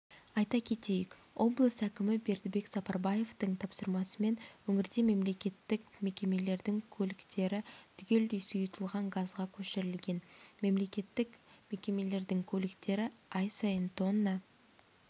айта кетейік облыс әкімі бердібек сапарбаевтың тапсырмасымен өңірде мемлекеттік мекемелердің көліктері түгелдей сұйытылған газға көшірілген мемлекеттік мекемелердің көліктері ай сайын тонна